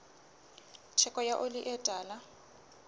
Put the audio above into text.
theko ya oli e tala